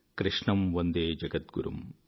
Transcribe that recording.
కృష్ణం వందే జగద్గురుమ్